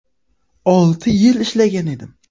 Olti yil ishlagan edim.